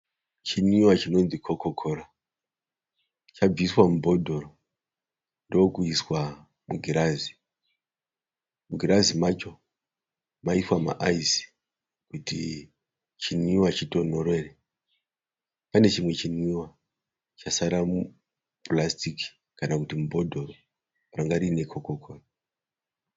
Chinwiwa chinonzi kokokora. Chabviswa mubhodhoro ndokuiswa mugirazi. Mugirazi macho maiswa maayizi kuti chinwiwa chitonhorere. Pane chimwe chinwiwa chasara mupurasiti kana kuti mubhodhoro ranga rine kokokora.